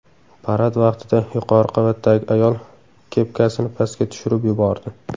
Parad vaqtida yuqori qavatdagi ayol kepkasini pastga tushirib yubordi.